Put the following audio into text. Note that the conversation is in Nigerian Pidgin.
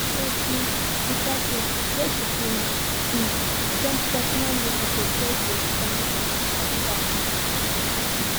for di di party wey she do na um gentle traditional music dey just dey sound from back